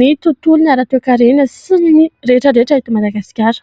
ny tontolon'ny ara toe-karena sy ny rehetra rehetra eto Madagasikara.